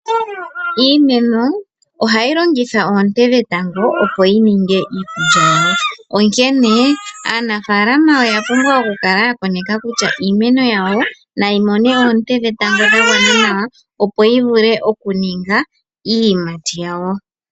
Iimeno ohayi longitha oonte dhetango opo yininge iikulya yawo onkene aanafalama oya pumbwa okukala ya koneka kutya iimeno yawo nayi mone oonte dhetango dhagwana nawa opo yivule okuninga iiyimati yawo.